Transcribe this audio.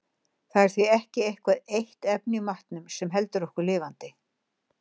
Það er því ekki eitthvað eitt efni í matnum sem heldur okkur lifandi.